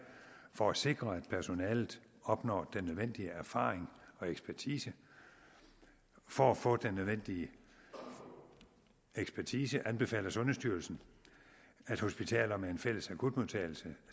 for at sikre at personalet opnår den nødvendige erfaring og ekspertise for at få den nødvendige ekspertise anbefaler sundhedsstyrelsen at hospitaler med en fælles akutmodtagelse